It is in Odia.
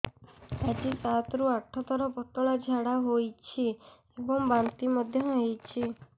ଆଜି ସାତରୁ ଆଠ ଥର ପତଳା ଝାଡ଼ା ହୋଇଛି ଏବଂ ବାନ୍ତି ମଧ୍ୟ ହେଇଛି